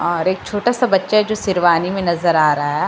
और एक छोटा सा बच्चा है जो शेरवानी में नजर आ रहा है।